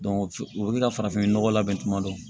o bɛ ka farafinnɔgɔ labɛn tuma dɔ